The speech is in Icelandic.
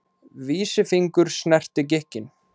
Vísifingur snerti gikkinn.